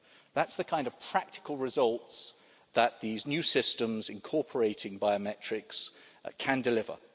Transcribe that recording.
That's the kind of practical result that these new systems, incorporating biometrics, can deliver.